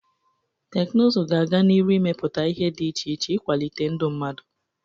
Teknụzụ ga-aga n'iru imepụta ihe dị iche iche ịkwalite ndụ mmadụ.